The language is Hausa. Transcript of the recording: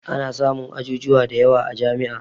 Ana samun ajujuwa da yawa a jami'a